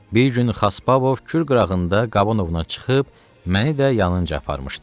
Bir gün Xaspabov kür qırağında qaban ovuna çıxıb, məni də yalınca aparmışdı.